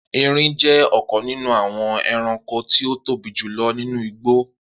Erin jẹ́ ọ̀kan nínú àwọn ẹranko tí ó tóbi jù lọ nínú igbó